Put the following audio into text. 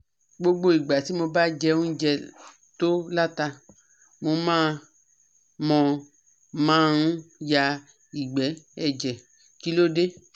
Gbogbo igba ti mo ba je ounje to lata, mo man mo man ya igbe eje, kilode